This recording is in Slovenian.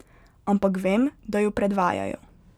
Ampak vem, da jo predvajajo.